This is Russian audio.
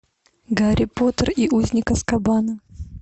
гарри поттер и узник азкабана